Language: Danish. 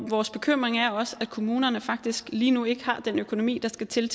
vores bekymring er også at kommunerne faktisk lige nu ikke har den økonomi der skal til